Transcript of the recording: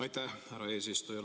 Aitäh, härra eesistuja!